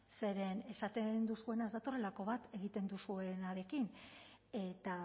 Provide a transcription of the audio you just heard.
zeren esaten duzuena ez datorrelako bat egiten duzuenarekin eta